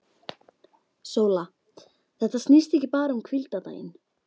SÓLA: Þetta snýst ekki bara um hvíldardaginn.